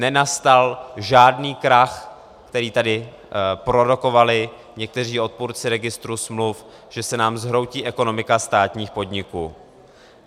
Nenastal žádný krach, který tady prorokovali někteří odpůrci registru smluv, že se nám zhroutí ekonomika státních podniků.